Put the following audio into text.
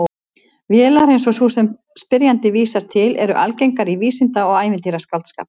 Vélar eins og sú sem spyrjandi vísar til eru algengar í vísinda- og ævintýraskáldskap.